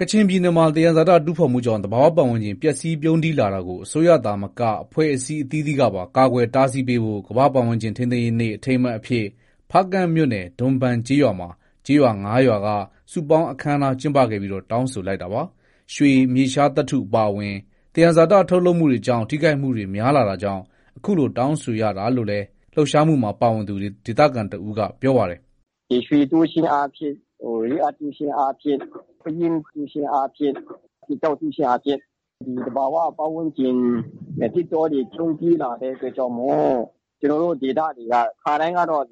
ကချင်ပြည်နယ်မှာ သံယံဇာတတူးဖော်မှုကြောင့် သဘာ၀ ပတ်ဝန်းကျင် ပျက်စီးပြုန်းတီးလာတာကို အစိုးရသာမက အဖွဲ့အစည်းအသီးသီးကပါ ကာကွယ်တားဆီးပေးဖို့ ကမ္ဘာပတ်ဝန်းကျင်ထိန်းသိမ်းရေးနေ့ အထိမ်းအမှတ်အဖြစ် ဖားကန့်မြို့နယ် ဒွန်ဘန်ကျေးရွာမှာ ကျေးရွာ ၅ရွာက စုပေါင်းအခမ်းအနား ကျင်းပခဲ့ပြီး တောင်းဆိုလိုက်တာပါ။ ရွှေ၊ မြေရှားသတ္ထု အပါအဝင် သယံဇာတ ထုတ်လုပ်မှုတွေကြောင့် ထိခိုက်မှုတွေ များလာတာကြောင့် အခုလို တောင်းဆိုရတာလို့လည်း လှုပ်ရှားမှုမှာ ပါဝင်သူ ဒေသခံတဦးက ပြောပါတယ်။ “ ဒီရွှေတူးခြင်းအားဖြင့်၊ Rare Earth တူးခြင်းအားဖြင့်၊ ပယင်းတူးခြင်းအားဖြင့်၊ ကျောက်တူးခြင်းအားဖြင့် သဘာဝပတ်ဝန်းကျင် သစ်တောတွေ ပြုန်းတီးလာတဲ့အတွက်ကြောင့် ကျနော်တို့ ဒေသတွေက ခါတိုင်းကတော့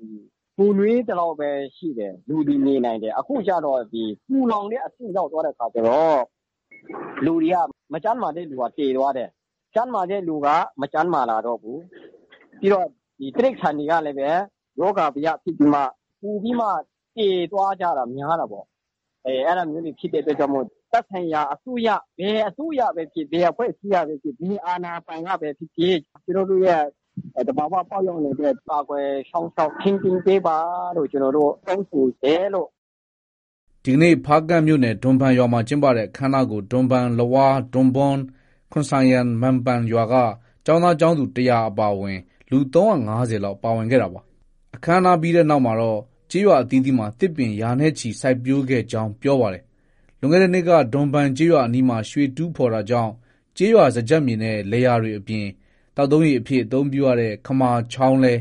ပူနွေးသလောက်ပဲ ရှိတယ်။ လူတွေ နေနိုင်တယ်။ အခုကျတော့ ပူလောင်တဲ့အဆင့် ရောက်သွားတဲ့အခါ ကျတော့ လူတွေက မကျန်းမာတဲ့သူကျ သေသွားတယ်။ ကျန်းမာတဲ့သူက မကျန်းမာလာတော့ဘူး။ ပြီးတော့ တိရိစ္ဆာန်တွေကလည်း ရောဂါဘယဖြစ်ပြီးမှ ပိုပြီးမှ သေသွားကြတာများတာပေါ့။ အဲဒါမျိုးတွေ ဖြစ်တဲ့အတွက်ကြောင့် သက်ဆိုင်ရာ ဘယ်အစိုးရ ၊ ဘယ်အစိုးရပဲဖြစ်ဖြစ်၊ ဘယ်အဖွဲ့အစည်းကပဲဖြစ်ဖြစ်၊ ဘယ်အာဏာပိုင်ကပဲဖြစ်ဖြစ် ကျနော်တို့ရဲ့ သဘော၀ ပတ်ဝန်းကျင်အတွက် ကာကွယ် စောင့်ရှောက် ထိန်းသိမ်းပေးပါလို့ ကျနော်တို့ တောင်းဆိုတယ်လို့။ ” ဒီကနေ့ ဖားကန့်မြို့နယ် ဒွန်ဘန်ရွာမှာ ကျင်းပတဲ့ အခမ်းအနားကို ဒွန်ဘန်၊ လဝါး၊ ဒွန်ဘွန်း၊ ခွန်ဆိုင်ယန်၊ မန်ပန်ရွာက ကျောင်းသား၊ ကျောင်းသူ ၁၀၀ကျော်အပါအဝင် လူ ၃၅၀လောက် ပါဝင် ကျင်းပခဲ့တာပါ။ အခမ်းအနားပြီးနောက်မှာတော့ ကျေးရွာအသီးသီးမှာ သစ်ပင်ရာနဲ့ချီစိုက်ပျိုးခဲ့ကြောင်း ပြောပါတယ်။ လွန်ခဲ့တဲ့နှစ်က ဒွန်ဘန်ကျေးရွာအနီးမှာ ရွှေတူးဖော်တာကြောင့် ကျေးရွာစားကျက်မြေနဲ့ လယ်ယာတွေ အပြင် သောက်သုံးရေအဖြစ် အသုံးပြုရတဲ့ ခမာချောင်းလည်း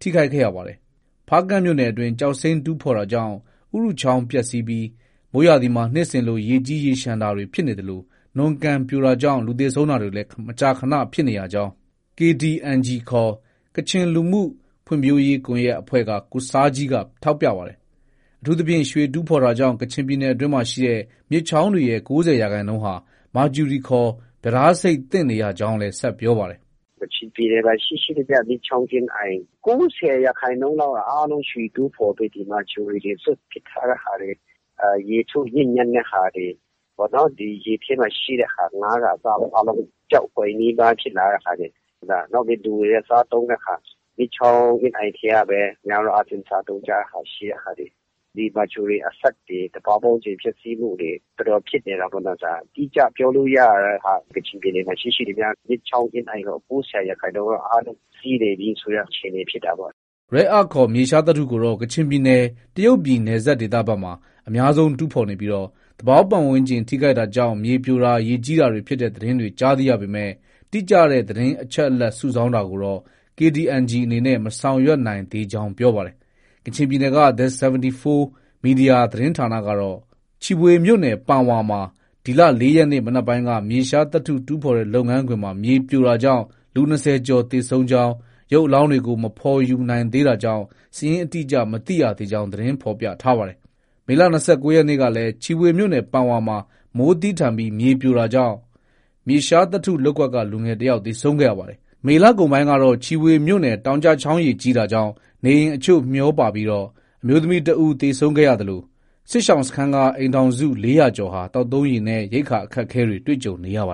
ထိခိုက်ခဲ့ရပါတယ်။ ဖားကန့်မြို့နယ်အတွင်း ကျောက်စိမ်းတူးဖော်တာကြောင့် ဥရုချောင်းပျက်ဆီပြီး မိုးရာသီမှာ နှစ်စဉ်လို ရေကြီးရေလျှံတာတွေဖြစ်နေသလို နွံကန်ပြိုတာကြောင့် လူသေဆုံးတာတွေ မကြာခန ဖြစ်နေရကြောင်း KDNG ခေါ် ကချင်လူမှုဖွံ့ဖြိုးရေးကွန်ရက်အဖွဲ့က ကိုဆားဂျီးက ထောက်ပြပါတယ်။ အထူးသဖြင့် ရွှေတူးဖော်တာကြောင့် ကချင်ပြည်နယ်အတွင်းရှိ မြစ်ချောင်းတွေရဲ့ ၉၀ရာခိုင်နှုန်းဟာ မာကျူရီခေါ် ပြဒါးဆိပ်သင့်နေရကြောင်းလည်း ဆက်ပြောပါတယ်။ “ ကချင်ပြည်နယ်မှာ ရှိရှိသမျှ မြစ်ချောင်းအင်းအိုင် ၉၀ ရာခိုင်နှုန်းလောက်က ရွှေတူးဖော်ပြီး ဒီမာကျူရီတွေ စွန့်ပစ်ထားတဲ့ဟာတွေ၊ ရေထုညစ်ညမ်းတဲ့ဟာတွေ၊ ရေထဲမှာရှိတဲ့ဟာ ဒီငါးကအစပေါ့ အားလုံး ပျောက်ကွယ် နီးပါး ဖြစ်လာတဲ့ဟာတွေ၊ နောက်ပြီး လူတွေက စားသုံးတဲ့ဟာ၊ မြစ်ချောင်းအင်းအိုင် ထဲကပဲ များသောအားဖြင့် စားသုံးကြတဲ့ဟာတွေ၊ ဒီမာကျူရီအဆိပ်တွေ၊ သဘာဝပတ်ဝန်းကျင်ပျက်ဆီးမှုတွေ တော်တော်ဖြစ်နေတာ ပေ့ါနော် ဒါက။ အတိအကျပြောလို့ ရတဲ့ဟာက ကချင်ပြည်နယ်မှာရှိရှိသမျှ မြစ်ချောင်းအင်းအိုင် ၉၀ရာခိုင်နှုန်း က အားလုံးပျက်ဆီးနေပြီဆိုတဲ့ အခြေအနေဖြစ်တာပေါ့။ ” Rare Earth ခေါ် မြေရှားသတ္တုကိုတော့ ကချင်ပြည်နယ် တရုတ်ပြည်နယ်စပ်ဒေသဘက်မှာ အများဆုံးတူးဖော်နေပြီး သဘာဝပတ်ဝန်းကျင်ထိခိုက်တာကြောင့် မြေပြိုတာ၊ ရေကြီးတာတွေ ဖြစ်တဲ့သတင်းတွေကြား သိရပေမဲ့ တိကျတဲ့ အချက်အလက်စုဆောင်းတာကိုတော့ KDNG အနေနဲ့ မဆောင်ရွက်နိုင်သေးကြောင်း ပြောပါတယ်။ ကချင်ပြည်နယ်က The 74 Media သတင်းဌာနကတော့ ချီဗွေမြို့နယ် ပန်ဝါမှာ ဒီလ ၄ရက်နေ့ နံနက်ပိုင်းက မြေရှားသတ္တုတူးဖော်တဲ့လုပ်ငန်းခွင်မှာ မြေပြိုတာကြောင့် လူ ၂၀ကျော်သေဆုံးကြောင်း ၊ရုပ်အလောင်းတွေကို မဖော်ယူနိုင်သေးတာကြောင့် စာရင်း အတိအကျ မသိရသေးကြောင်း သတင်းဖော်ပြထားပါတယ်။ မေလ ၂၉ရက်နေ့ကလည်း ချီဗွေမြို့နယ် ပန်ဝါမှာ မိုးသည်းထန်ပြီး မြေပြိုတာကြောင့် မြေရှားသတ္တုလုပ်ကွက်က လူငယ်တယောက် သေဆုံးခဲ့ရပါတယ်။ မေလကုန်ပိုင်းကတော့ ချီဗွေမြို့နယ်အတွင်း တောင်ကျချောင်းရေကြီးတာကြောင့် နေအိမ်အချို့ မျှောပါပြီး အမျိုးသမီးတဦး သေဆုံးခဲ့သလို စစ်ရှောင်စခန်းက အိမ်ထောင်စု ၄၀၀ကျော်ဟာ သောက်သုံးရေနဲ့ ရိက္ခာအခက်အခဲတွေ တွေ့ကြုံနေရပါတယ်